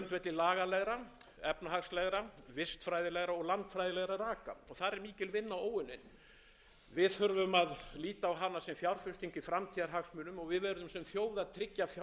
lagalegra efnahagslegra vistfræðilegra og landfræðilegra raka og þar er mikil vinna óunnin við þurfum að líta á hana sem fjárfestingu í framtíðarhagsmunum og við verðum sem þjóð að tryggja fjárveitingar